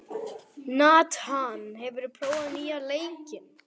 Nathan, hefur þú prófað nýja leikinn?